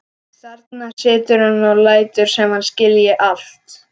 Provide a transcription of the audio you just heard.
Þarna situr hann og lætur sem hann skilji allt.